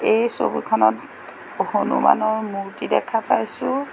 এই ছবিখনত হনুমানৰ মূৰ্তি দেখা পাইছোঁ।